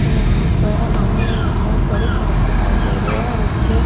यहां पर हमें एक बहुत बड़ी सड़क दिखाई दे रही है और उसके--